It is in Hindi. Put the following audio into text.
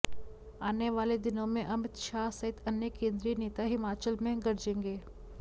आने वाले दिनों में अमित शाह सहित अन्य केंद्रीय नेता हिमाचल में गरजेंगे